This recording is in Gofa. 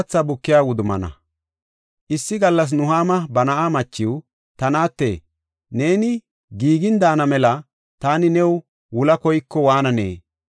Issi gallas Nuhaama ba na7a machiw, “Ta naate, neeni giigin daana mela taani new wula koyaako waananee?